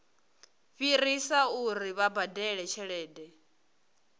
fhirisa uri vha badele tshelede